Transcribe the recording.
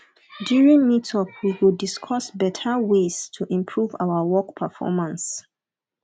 during meetup we go discuss beta ways to improve our work performance